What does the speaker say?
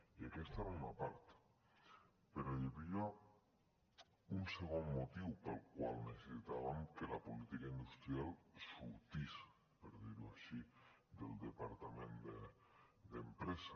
i aquesta era una part però hi havia un segon motiu pel qual necessitàvem que l a política industrial sortís per dir ho així del departament d’empresa